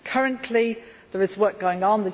Currently there is work going on.